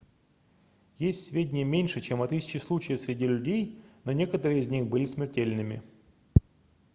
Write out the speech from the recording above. есть сведения меньше чем о тысяче случаев среди людей но некоторые из них были смертельными